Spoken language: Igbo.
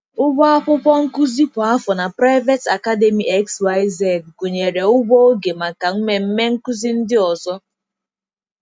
Ụgwọ akwụkwọ nkuzi kwa afọ na Private Academy XYZ gụnyere ụgwọ oge maka mmemme nkụzi ndị ọzọ.